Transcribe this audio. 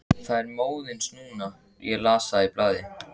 Það er móðins núna, ég las það í blaði.